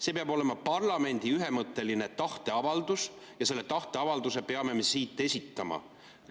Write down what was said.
See peab olema parlamendi ühemõtteline tahteavaldus ja selle tahteavalduse peame me siit esitama.